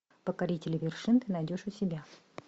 покорители вершин ты найдешь у себя